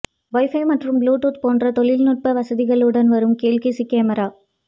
wifi மற்றும் bluetooth போன்ற தொழில் நுட்ப வசதியுடன் வரும் கேல்கஸி கேமரா